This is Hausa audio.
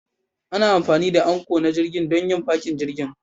Ana amfani da Anchor na jirgin don yin fakin jirgin